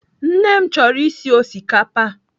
Nne m chọrọ isi osikapa.